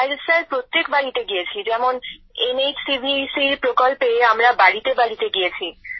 আর sir প্রত্যেক বাড়িতে গিয়েছি যেমন এনএইচসিভিসির প্রকল্পে আমরা বাড়িতেবাড়িতে গিয়েছি